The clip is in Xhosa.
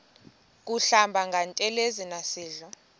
kuhlamba ngantelezi nasidlo